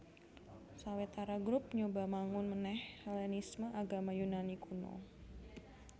Sawetara grup nyoba mangun manèh Hellenisme Agama Yunani kuno